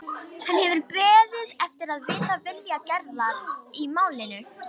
Hann hefur beðið eftir að vita vilja Gerðar í málinu.